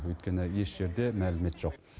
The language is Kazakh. өйткені еш жерде мәлімет жоқ